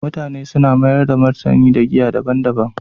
mutane suna mayar da martani ga giya daban-daban